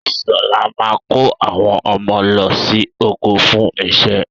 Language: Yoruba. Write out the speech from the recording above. Sọlá máa kó àwọn ọmọ lọ sí oko fún iṣẹ́.